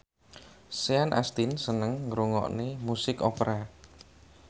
Sean Astin seneng ngrungokne musik opera